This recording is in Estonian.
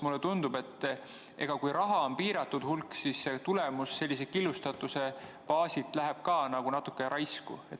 Mulle tundub, et kui raha on piiratud hulk, siis tulemus sellise killustatuse baasilt läheb ka natukene raisku.